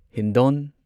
Hindon